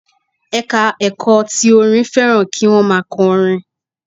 Ẹ̀ka ẹ̀kọ́ ti orin fẹ́ràn kí wọ́n má a kọ orin